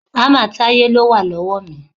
Hámà Táyé ló wà lọ́wọ́ mi.